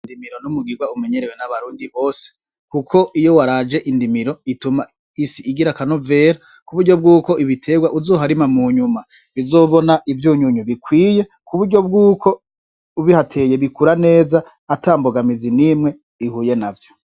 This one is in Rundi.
Indimiro n'umugirwa umunyerewe n'abarundi bose, kuko iyo waraje indimiro ituma isi igira akanovera kuburyo bwuko ibiterwa uzoharima munyuma bizobona ivyunyunyu bikwiye kuburyo bwuko ubihateye bikura neza ata imbogamizi n'imwe ihuye navyo.